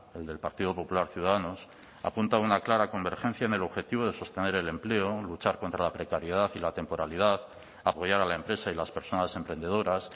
el del partido popular ciudadanos apunta a una clara convergencia en el objetivo de sostener el empleo luchar contra la precariedad y la temporalidad apoyar a la empresa y las personas emprendedoras